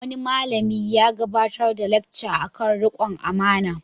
Wani malami ya gabatar da lacca kan riƙon amana.